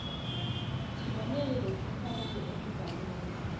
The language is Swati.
tibonelo letifanele emibhalweni